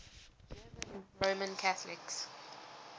german roman catholics